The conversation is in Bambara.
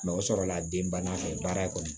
o sɔrɔla den banna fɛ baara kɔni